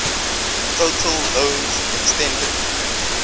total loans extended